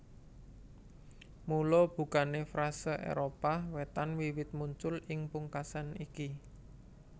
Mula bukané frase Éropah Wétan wiwit muncul ing pungkasan iki